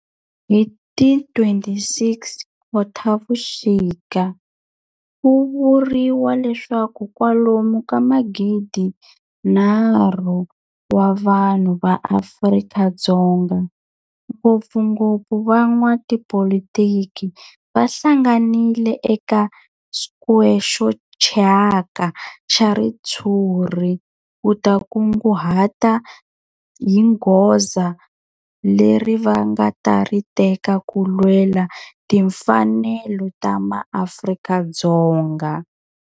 Hi ti 26 Khotavuxika ku vuriwa leswaku kwalomu ka magidinharhu wa vanhu va Afrika-Dzonga, ngopfungopfu van'watipolitiki va hlanganile eka square xo thyaka xa ritshuri ku ta kunguhata hi goza leri va nga ta ri teka ku lwela timfanelo ta maAfrika-Dzonga.